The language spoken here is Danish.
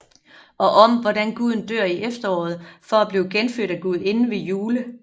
Og om hvordan Guden dør i efteråret for at blive genfødt af Gudinden ved Yule